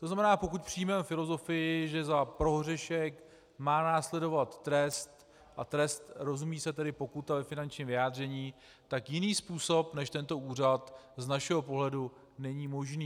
To znamená, pokud přijmeme filozofii, že za prohřešek má následovat trest, a trest rozumí se tedy pokuta ve finančním vyjádření, tak jiný způsob než tento úřad z našeho pohledu není možný.